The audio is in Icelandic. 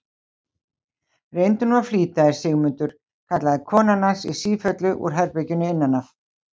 Reyndu nú að flýta þér, Sigmundur, kallaði konan hans í sífellu úr herberginu innan af.